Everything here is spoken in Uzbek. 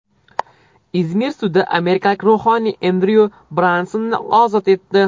Izmir sudi amerikalik ruhoniy Endryu Bransonni ozod etdi.